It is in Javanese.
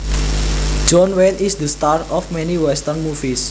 John Wayne is the star of many western movies